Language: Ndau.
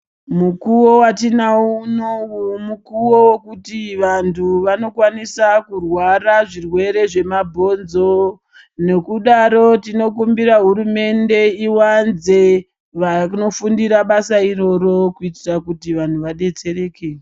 Mukuwo watinawo unowu mukuwo wekuti vandu vanokwanisa kurwara zvirwere zvemabhonzo nekudaro tinokumbira hurumende iwanze vanofundira basa iroro kuitira kuti vanhu vadetsereke.